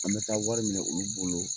An be taa wari minɛ olu bolo